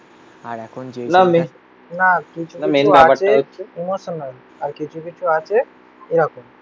না কিছু কিছু আছে ইমোশনাল আর কিছু কিছু আছে এরকম